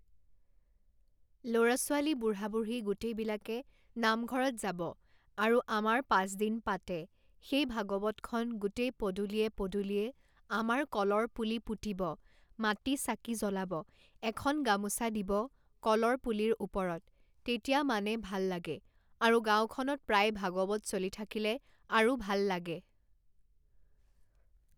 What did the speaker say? ল'ৰা-ছোৱালী বুঢ়া -বুঢ়ী গোটেইবিলাকে নামঘৰত যাব আৰু আমাৰ পাঁচদিন পাতে সেই ভাগৱতখন গোটেই পদূলিয়ে পদূলিয়ে আমাৰ কলৰ পুলি পুতিব মাটি চাকি জ্বলাব এখন গামোচা দিব কলৰ পুলিৰ ওপৰত তেতিয়া মানে ভাল লাগে আৰু গাঁওখনত প্ৰায় ভাগৱত চলি থাকিলে আৰু ভাল লাগে